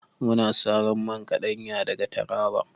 Muna saro man kaɗanya daga taraba